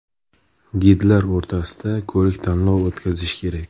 Gidlar o‘rtasida ko‘rik-tanlov o‘tkazish kerak.